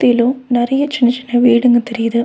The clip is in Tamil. லோ நறிய சின்ன சின்ன வீடுங்க தெரியிது.